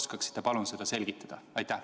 Kas te oskaksite, palun, seda selgitada?